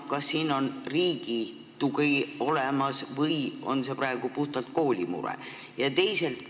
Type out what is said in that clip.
Kas siin on riigi tugi olemas või on see praegu puhtalt kooli mure?